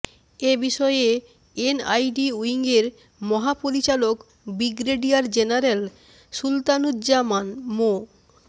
এ বিষয়ে এনআইডি উইংয়ের মহাপরিচালক ব্রিগেডিয়ার জেনারেল সুলতানুজ্জামান মো